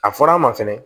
A fɔra an ma fɛnɛ